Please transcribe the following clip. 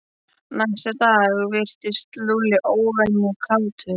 Næsta dag virtist Lúlli óvenju kátur.